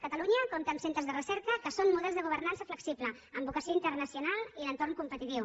catalunya compta amb centres de recerca que són models de governança flexible amb vocació internacional i d’entorn competitiu